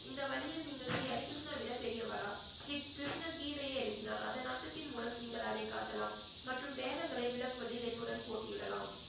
இந்த வழியில் நீங்கள் ஸ்ரீ ஹரிகிருஷ்ணனை விட பெரியவரா ஸ்ரீ கிருஷ்ணன் கீதையை எழுதினார் அதன் அர்த்தத்தின் மூலம் நீங்கள் அதை காட்டலாம் மற்றும் வேதங்களை விளக்குவதில் என்னுடன் போட்டியிடலாம்